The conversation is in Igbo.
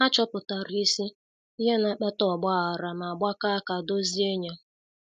Ha chọpụtara isi ihe na-akpata ọgba aghara ma gbakọọ aka dozie ya.